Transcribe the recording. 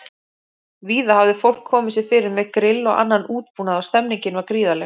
Víða hafði fólk komið sér fyrir með grill og annan útbúnað og stemmningin var gríðarleg.